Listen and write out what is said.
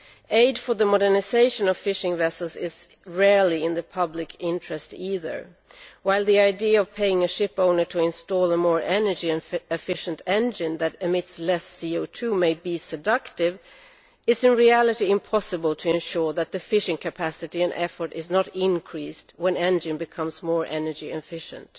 Aid for the modernisation of fishing vessels is rarely in the public interest either, and while the idea of paying a ship owner to install a more energy efficient engine which emits less CO 2 may be seductive, it is in reality impossible to ensure that the fishing capacity and effort are not increased when an engine becomes more energy efficient.